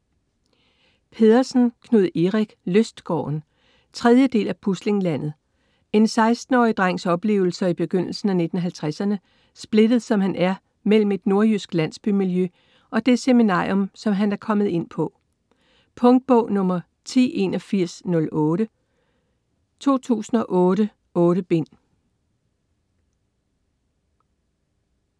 Pedersen, Knud Erik: Lystgården 3. del af Puslinglandet. En 16-årig drengs oplevelser i begyndelsen af 1950'erne, splittet som han er mellem et nordjysk landsbymiljø og det seminarium, som han er kommet ind på. Punktbog 108108 2008. 8 bind.